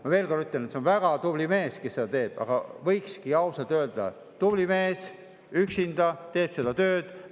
Ma veel kord ütlen, et ta, kes seda teeb, on väga tubli mees, aga võikski ausalt öelda, et ta on tubli mees, et üksinda teeb seda tööd.